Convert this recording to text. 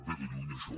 ve de lluny això